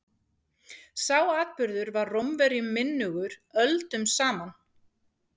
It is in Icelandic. sá atburður var rómverjum minnugur öldum saman